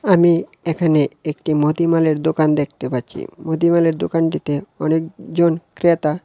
আমি এখানে একটি মুদিমালের দোকান দেখতে পাচ্ছি মুদিমালের দোকানটিতে অনেকজন ক্রেতা--